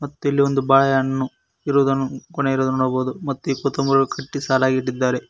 ಮತ್ತು ಇಲ್ಲೊಂದು ಬಾಳೆಹಣ್ಣು ಇರುವುದನ್ನು ಗೋನೆ ಇರುವುದನ್ನು ನಾವು ನೋಡಬಹುದು ಮತ್ತು ಕಟ್ಟಿ ಸಾಲಾಗಿ ಇಟ್ಟಿದ್ದಾರೆ.